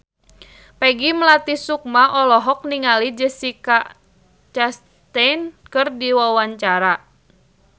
Peggy Melati Sukma olohok ningali Jessica Chastain keur diwawancara